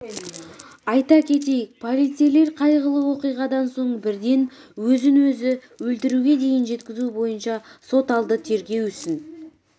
айта кетейік полицейлер қайғылы оқиғадан соң бірден өзін-өзі өлтіруге дейін жеткізу бойынша сот алды тергеу ісін